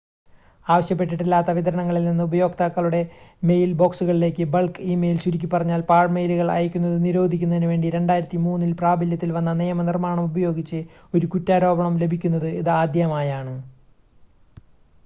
ആവശ്യപ്പെട്ടിട്ടില്ലാത്ത വിതരണങ്ങളിൽനിന്ന് ഉപയോക്താക്കളുടെ മെയിൽ ബോക്സുകളിലേക്ക് ബൾക്ക് ഇ-മെയിൽ ചുരുക്കിപ്പറഞ്ഞാൽ പാഴ്മെയിലുകൾ അയക്കുന്നത് നിരോധിക്കുന്നതിനുവേണ്ടി 2003 ൽ പ്രാബല്യത്തിൽവന്ന നിയമനിർമ്മാണം ഉപയോഗിച്ച് ഒരു കുറ്റാരോപണം ലഭിക്കുന്നത് ഇതാദ്യമാണ്